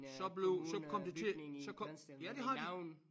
Så blev så kom det til så kom ja det har de